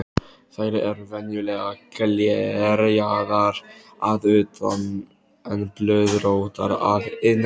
Þær eru venjulega glerjaðar að utan en blöðróttar að innan.